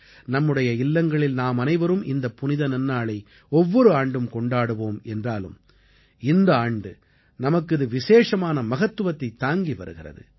நம்முடைய இல்லங்களில் நாமனைவரும் இந்தப் புனித நன்னாளை ஒவ்வொரு ஆண்டும் கொண்டாடுவோம் என்றாலும் இந்த ஆண்டு நமக்கு இது விசேஷமான மகத்துவத்தைத் தாங்கி வருகிறது